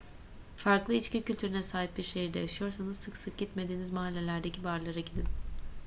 farklı içki kültürüne sahip bir şehirde yaşıyorsanız sık sık gitmediğiniz mahallelerdeki barlara gidin